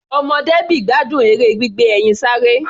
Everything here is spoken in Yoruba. Ọmọ Debby gbádùn eré gbígbé ẹyin sáré.